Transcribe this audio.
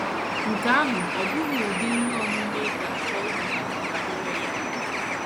Nke ahụ ọ́ bụghị ụdị ihe omume ị ga - achọ ịmụtakwu banyere ya?